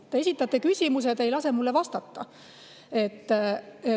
Te esitasite küsimuse, aga te ei lase mul vastata.